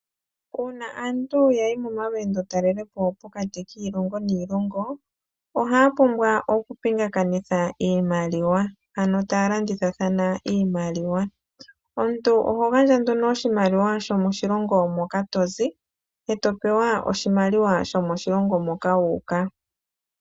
Uuna aantu yayi momalweendotalelopo pokati kiilongo niilongo, ohaa pumbwa okupingakanitha iimaliwa, ano taa landithathana iimaliwa. Omuntu oho gandja nduno oshimaliwa shomoshilongo moka tozi, e to pewa oshimaliwa shomoshilongo moka wu uka.